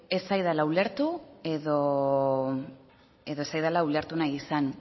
ez zaidala ulertu edo ez zaidala ulertu nahi izan